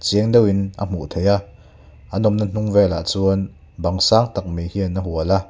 chiang deuhin a hmuh theih a an awmna hnung vel ah chuan bang sang tak mai hian a hual a.